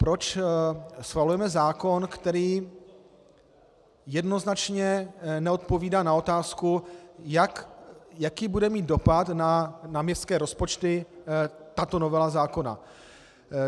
Proč schvalujeme zákon, který jednoznačně neodpovídá na otázku, jaký bude mít dopad na městské rozpočty tato novela zákona?